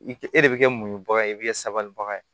I kɛ e de bɛ kɛ muɲubaga ye i bɛ kɛ sabalibaga ye